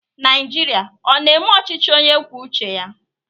Naijiria ọ na-eme ọchịchị onye kwuo uche ya?